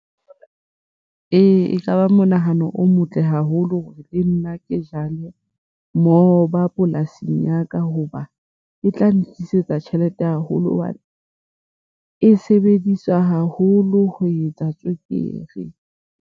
Ee, ekaba monahano o motle haholo hore le nna ke jale moba polasing ya ka hoba e tla ntlisetsa tjhelete haholo hobane e sebediswa haholo ho etsa tswekere.